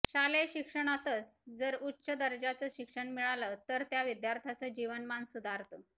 शालेय शिक्षणातचं जर उच्च दर्जाचं शिक्षण मिळालं तर त्या विद्यार्थ्याचं जीवनमान सुधारतं